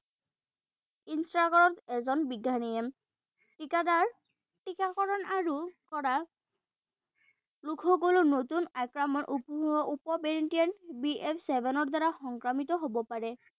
এজন বিজ্ঞানীয়ে। টীকাকৰণ আৰু কৰা লোকসকলৰ নতুন উপ বি এফ্ ছেভেনৰ দ্বাৰা সংক্ৰমিত হব পাৰে।